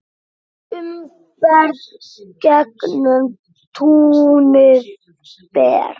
Umferð gegnum túnið ber.